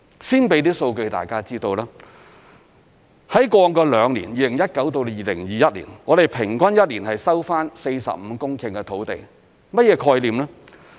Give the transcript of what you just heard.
先提供一些數據讓大家知道，在過往兩年，即2019年至2021年，我們平均一年收回45公頃土地。